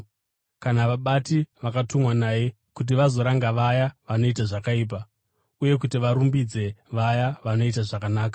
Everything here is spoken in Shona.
kana vabati, vakatumwa naye kuti vazoranga vaya vanoita zvakaipa uye kuti varumbidze vaya vanoita zvakanaka.